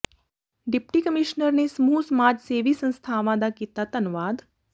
deputy commissioner ਨੇ ਸਮੂਹ ਸਮਾਜ ਸੇਵੀ ਸੰਸਥਾਵਾਂ ਦਾ ਕੀਤਾ ਧੰਨਵਾਦ